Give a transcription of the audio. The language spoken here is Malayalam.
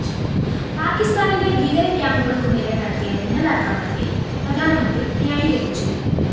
പാക്കിസ്ഥാനിലെ ഭീകര ക്യാമ്പുകള്‍ക്കു നേരെ നടത്തിയ മിന്നലാക്രമണത്തെയും പ്രധാനമന്ത്രി ന്യായീകരിച്ചു